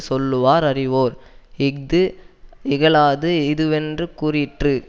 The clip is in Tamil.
சொல்லுவார் அறிவோர் இஃது இகலாது இதுவென்று கூறிற்று